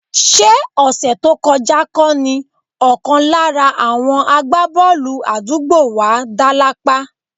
Ṣé ọ̀sẹ̀ tó kọjá kọ́ ni ọ̀kan lára àwọn àgbábọ́ọ̀lù àdúgbò wa dá lápá?